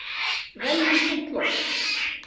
Veljum hreint loft!